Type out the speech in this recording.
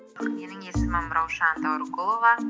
менің есімім раушан дәуірқұлова